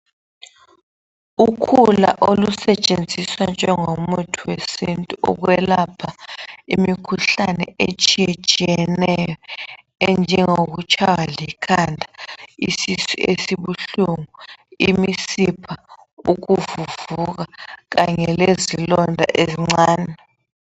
Ukhula olusetshenziswa njengomuthi wesintu ukwelapha imikhuhlane etshiyetshiyeneyo enjengokutshaywa likhanda isisu esibuhlungu imisipha ukuvuvuka kanye lezilonda ezincane